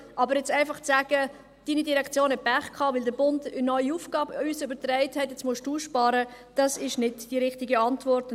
Aber einfach zu sagen, «Deine Direktion hat Pech gehabt, weil der Bund uns eine neue Aufgabe übertragen hat, und nun musst du sparen!», ist nicht die richtige Antwort.